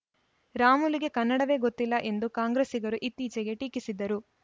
ರಾಮುಲುಗೆ ಕನ್ನಡವೇ ಗೊತ್ತಿಲ್ಲ ಎಂದು ಕಾಂಗ್ರೆಸ್ಸಿಗರು ಇತ್ತೀಚೆಗೆ ಟೀಕಿಸಿದ್ದರು